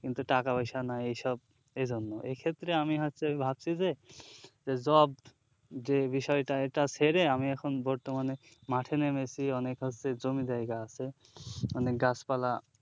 কিন্তু টাকা পয়সা নাই এইসব এইজন্য এক্ষেত্রে আমি হচ্ছে ভাবছি যে যে job যে বিষয়টায় এটা ছেড়ে আমি এখন বর্তমানে মাঠে নেমেছি অনেক হচ্ছে জমি জায়গা আছে অনেক গাছপালা